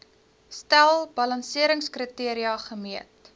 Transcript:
stel balanseringskriteria gemeet